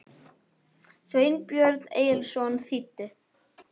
Sveinbjörn Egilsson þýddi.